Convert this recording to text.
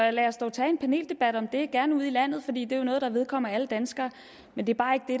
og lad os dog tage en paneldebat om det gerne ude i landet for det er jo noget der vedkommer alle danskere men det